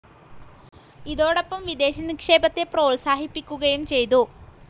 ഇതോടൊപ്പം വിദേശ നിക്ഷേപത്തെ പ്രോത്സാഹിപ്പിക്കുകയും ചെയ്തു.